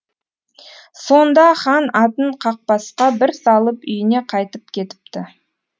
сонда хан атын қақбасқа бір салып үйіне қайтып кетіпті